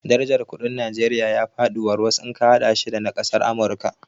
Darajar kuɗin Najeriya ya faɗi warwas in ka haɗa shi da na kasar Amurika